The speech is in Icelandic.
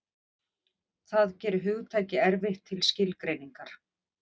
Það gerir hugtakið erfitt til skilgreiningar.